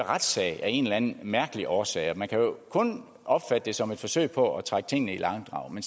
retssag af en eller anden mærkelig årsag og man kan jo kun opfatte det som et forsøg på at trække tingene i langdrag men